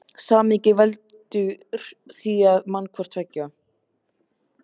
Samhengið veldur því að hann man hvort tveggja.